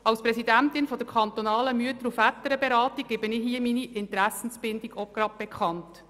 Als Präsidentin der kantonalen Mütter- und Väterberatung gebe ich hier meine Interessenbindung bekannt.